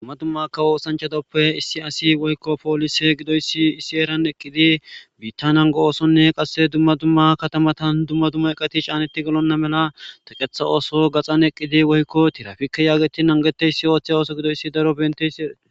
Dumma dumma kawo usanchatoppe issi asi woykko poolise gidoyssi issi eeran eqqidi biitta nango oosonne qasse dumma dumma katamatan dumma duma eqati caanetti gelonna mela taqetha ooso gaxan eqqidi woykko tirafikke yaageti nangete yissi ooththe ooso gidoyssi daro bente si erae.